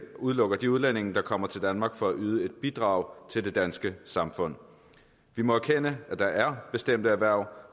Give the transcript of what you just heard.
udelukker de udlændinge der kommer til danmark for at yde et bidrag til det danske samfund vi må erkende at der er bestemte erhverv